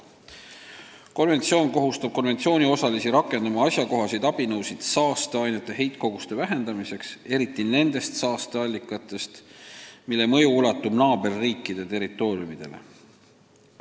Konventsioon kohustab konventsiooniosalisi rakendama asjakohaseid abinõusid saasteainete heitkoguste vähendamiseks, eriti nende saasteallikate puhul, mille mõju ulatub naaberriikide territooriumile.